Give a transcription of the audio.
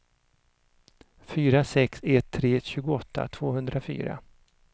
fyra sex ett tre tjugoåtta tvåhundrafyra